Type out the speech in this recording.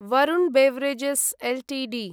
Varun beverages Ltd